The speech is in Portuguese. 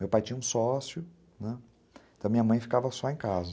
Meu pai tinha um sócio, né, então minha mãe ficava só em casa.